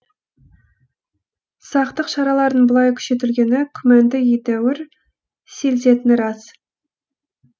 сақтық шараларының бұлай күшейтілгені күмәнді едәуір сейілтетіні рас